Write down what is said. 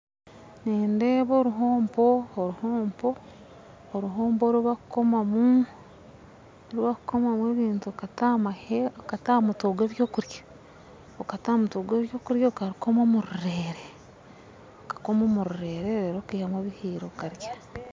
Nindeeba oruhompo oruhompo oruhompo oru bakukomamu oru bakukomamu ebintu okata aha mutwe gw'ebyokurya okata aha mutwe gw'ebyokurya okarukoma omu rureere okakoma omu rureere reero okaihamu ebihiire okarya .